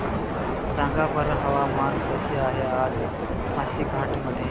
सांगा बरं हवामान कसे आहे आज पासीघाट मध्ये